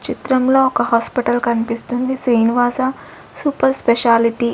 చిత్రంలో ఒక హాస్పిటల్ కన్పిస్తుంది శ్రీనివాస సూపర్ స్పెషాలిటీ --